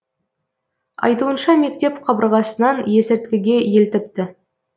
айтуынша мектеп қабырғасынан есірткіге елтіпті